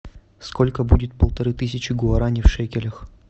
сколько будет полторы тысячи гуарани в шекелях